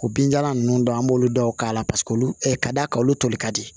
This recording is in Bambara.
O binjalan ninnu an b'olu dɔw k'a la paseke olu ka d'a kan olu toli ka di